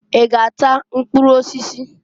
I g'ata mkpụrụ osisi?